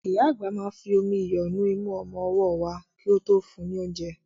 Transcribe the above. Ìyá àgbà máa fi omi iyọ̀ nu imú ọmọ ọwọ́ wa kí ó tó fún un ní oúnjẹ.